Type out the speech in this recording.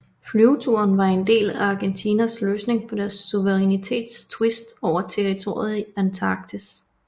Flyveturen var en del af Argentinas løsning på deres suverænitets tvist over territoriet i Antarktis